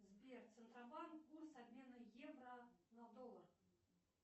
сбер центробанк курс обмена евро на доллар